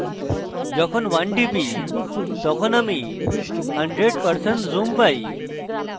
যখন 1 টিপি তখন আমি 100% zoom পাই